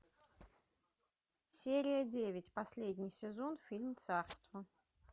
серия девять последний сезон фильм царство